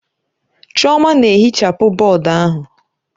Chioma na-ehichapụ bọọdụ ahụ.